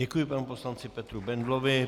Děkuji panu poslanci Petru Bendlovi.